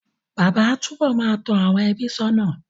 Bàbá á tú bọ̀ máa tó àwọn ẹbí sónà